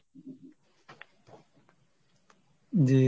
জি।